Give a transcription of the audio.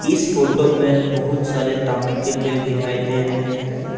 इस फोटो में बहुत सारे तामुन के पेड़ दिखाई दे रहे हैं।